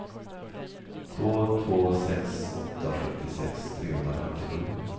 två två sex åtta sjuttiosex trehundrafemtiosju